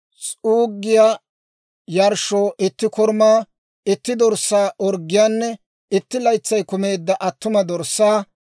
S'uuggiyaa yarshshoo itti korumaa, itti dorssaa orggiyaanne, itti laytsay kumeedda attuma dorssaa;